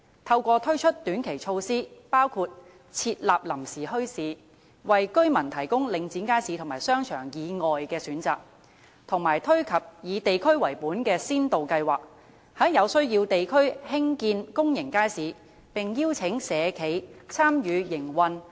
透過推出短期措施，包括設立臨時墟市，為居民提供領展街市和商場以外的選擇，以及推出以地區為本的先導計劃，在有需要地區興建公眾街市，並邀請社企參與營運。